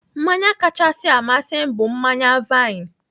Mmanya kachasị amasị m bụ mmanya vaịn.